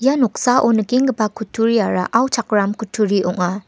ia noksao nikenggipa kutturia auchakram kutturi ong·a.